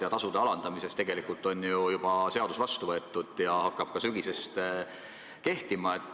Ja tasude alandamiseks on ju tegelikult seadus juba vastu võetud ja see hakkab sügisest ka kehtima.